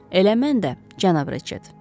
Elə mən də, cənab Retchett.